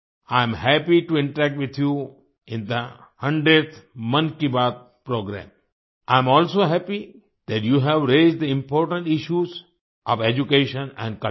I am happy to interact with you in the 100th Mann ki Baat programme I am also happy that you have raised the important issues of education and culture